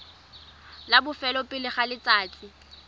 la bofelo pele ga letsatsi